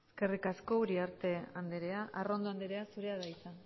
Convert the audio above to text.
eskerrik asko uriarte andrea arrondo andrea zurea da hitza